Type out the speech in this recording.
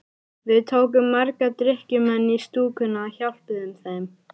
Við tókum marga drykkjumenn í stúkuna og hjálpuðum þeim.